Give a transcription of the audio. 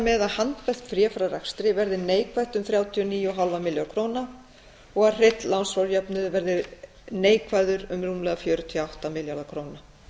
að handbært fé frá rekstri verði neikvætt um þrjátíu og níu komma fimm milljarða króna og að hreinn lánsfjárjöfnuður verði neikvæður um rúmlega fjörutíu og átta milljarða króna